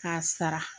K'a sara